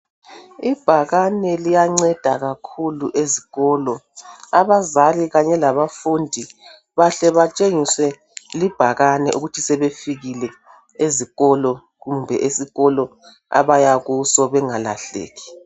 ibhakane liyanceda kakhulu esikolo abazali kanye labafundi bahle batshengiswe libhakane ukuthi sebefikile ezikolo kumbe esikolo abaya kuso bengalahlaki